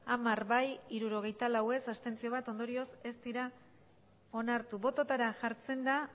hamar bai hirurogeita lau ez bat abstentzio ondorioz ez dira onartu botoetara jartzen da